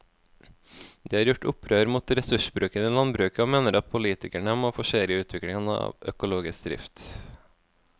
De har gjort opprør mot ressursbruken i landbruket og mener at politikerne må forsere utviklingen av økologisk drift.